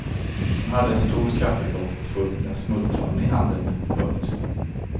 Hon hade en stor kaffekopp fullt med smultron i handen. punkt